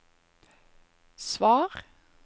svar